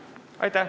Aitäh!